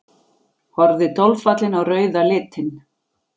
Horfði dolfallin á rauða litinn.